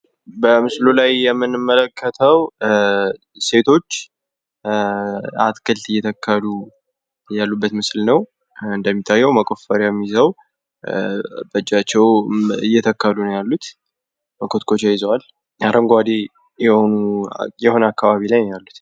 በምስሉ ላይ የምንመለከተዉ ሴቶች አትክልት እየተከሉ ያሉበት ምስል ነዉ። እንደሚታየዉ መቆፈሪያም ይዘዉ በእጃቸዉም እየተከሉ ነዉ ያሉት መኮትኮቻ ይዘዋል። አረንጓዴ የሆነ አካባቢ ላይ ነዉ ያሉት።